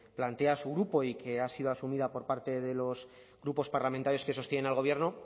plantea su grupo y que ha sido asumida por parte de los grupos parlamentarios que sostienen al gobierno